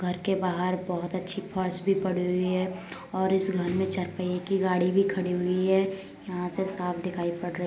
घर के बाहर बहुत अच्छी फर्श भी पड़ी हुई है और इस घर मे चार पहिये की गाड़ी भी खड़ी हुई है यहाँ से साफ दिखाई पड़ रही --